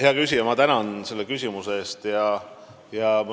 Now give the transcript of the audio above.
Hea küsija, ma tänan selle küsimuse eest!